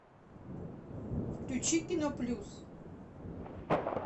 включи киноплюс